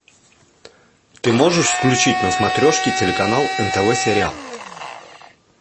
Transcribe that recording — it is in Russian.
ты можешь включить на смотрешке телеканал нтв сериал